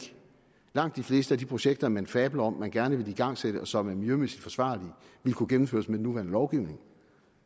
langt de fleste af de projekter man fabler om at man gerne vil igangsætte og som er miljømæssigt forsvarlige ville kunne gennemføres med den nuværende lovgivning